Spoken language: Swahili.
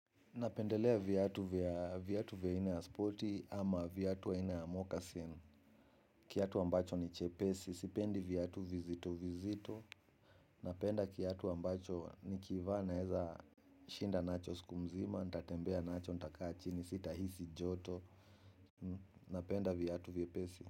Napendelea viatu vya viatu vya aina ya sporti ama viatu vya aina ya mokasin. Kiatu ambacho ni chepesi, sipendi viatu vizito vizito. Napenda kiatu ambacho nikivaa naweza shinda nacho siku mzima, ntatembea nacho, ntakaa chini, sitahisi joto. Napenda viatu viepesi.